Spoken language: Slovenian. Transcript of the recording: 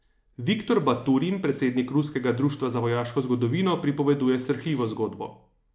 Viktor Baturin, predsednik ruskega društva za vojaško zgodovino, pripoveduje srhljivo zgodbo.